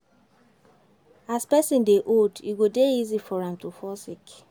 As person dey old, e go dey easy for am to fall sick